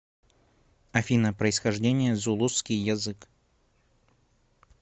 афина происхождение зулусский язык